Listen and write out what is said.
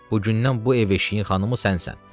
bu gündən bu ev-eşiyin xanımı sənsən.